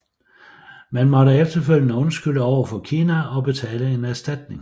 Man måtte efterfølgende undskylde over for Kina og betale en erstatning